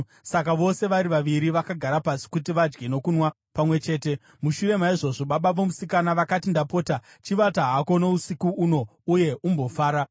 Saka vose vari vaviri vakagara pasi kuti vadye nokunwa pamwe chete. Mushure maizvozvo, baba vomusikana vakati, “Ndapota chivata hako usiku uno uye umbofara.”